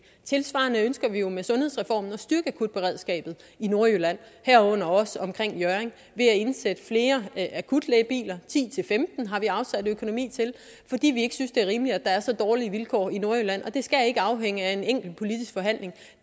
tilsvarende ønsker vi jo med sundhedsreformen at styrke akutberedskabet i nordjylland herunder også omkring hjørring ved at indsætte flere akutlægebiler ti til femten har vi afsat økonomi til fordi vi ikke synes det er rimeligt at der er så dårlige vilkår i nordjylland og det skal ikke afhænge af en enkelt politisk forhandling